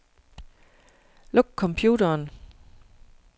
Luk computeren.